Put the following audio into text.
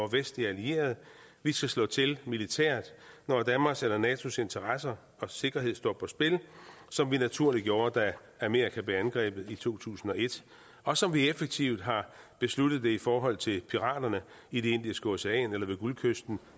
vestlige allierede vi skal slå til militært når danmarks eller natos interesser og sikkerhed står på spil som vi naturligt gjorde da amerika blev angrebet i to tusind og et og som vi effektivt har besluttet det i forhold til piraterne i det indiske ocean eller ved guldkysten